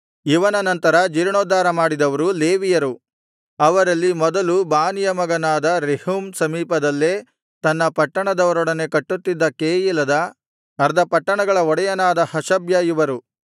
ಇವನ ನಂತರ ಜೀರ್ಣೋದ್ಧಾರ ಮಾಡಿದವರು ಲೇವಿಯರು ಅವರಲ್ಲಿ ಮೊದಲು ಬಾನಿಯ ಮಗನಾದ ರೆಹೂಮ್ ಸಮೀಪದಲ್ಲೇ ತನ್ನ ಪಟ್ಟಣದವರೊಡನೆ ಕಟ್ಟುತ್ತಿದ್ದ ಕೆಯೀಲದ ಅರ್ಧ ಪಟ್ಟಣಗಳ ಒಡೆಯನಾದ ಹಷಬ್ಯ ಇವರು